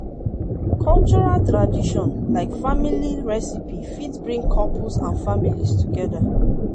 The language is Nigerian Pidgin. cultural tradition like family recipie fit bring couples and families together